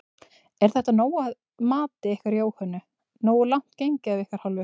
Er þetta nóg að mati ykkar Jóhönnu, nógu langt gengið af ykkar hálfu?